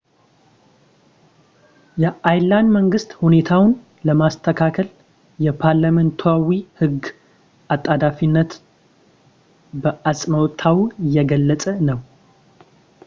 የአየርላንድ መንግሥት ሁኔታውን ለማስተካከል የፓርላሜንታዊ ሕግ አጣዳፊነትን በአጽንኦት እየገለጸ ነው